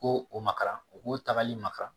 Ko o ma kalan o ko tagali maka